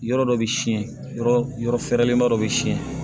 Yɔrɔ dɔ bɛ siyɛn yɔrɔ yɔrɔ fɛrɛlen ba dɔ bɛ siɲɛ